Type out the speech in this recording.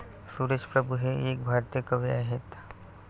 सुरेश प्रभू हे एक भारतीय कवी आहेत.